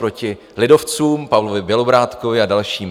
Proti lidovcům, Pavlovi Bělobrádkovi a dalším.